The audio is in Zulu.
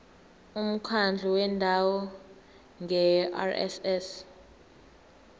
umkhandlu wendawo ngerss